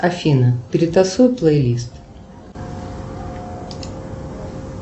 афина перетасуй плей лист